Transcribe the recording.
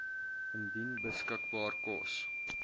indien beskikbaar kos